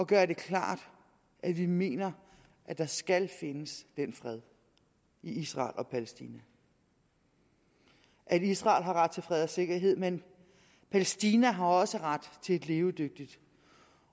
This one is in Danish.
gøre det klart at vi mener at der skal findes den fred i israel og palæstina israel har ret til fred og sikkerhed men palæstina har også ret til et levedygtigt